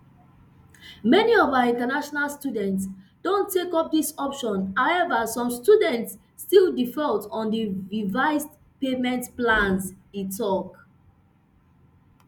many of our international students don take up dis option however some students still default on these revised payment plans e tok